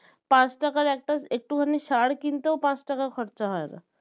পাঁচ টাকার একটা একটুখানি সার কি কিনতেও পাঁচ টাকা খরচা হয়না